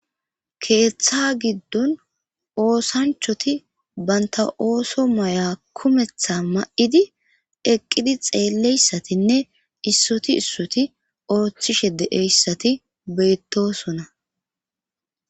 keeththa giddon oosanchoti banta ooso maya kumetha ma7idi eqqidi xeeleyssatinne issoti issoti ooththishe de7eyssati bettosona.